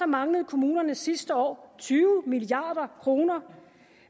manglede kommunerne sidste år tyve milliard kroner